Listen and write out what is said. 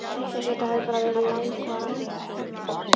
Eins og þetta hefðu bara verið langvarandi hefndir.